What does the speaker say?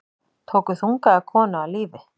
Tóku þungaða konu af lífi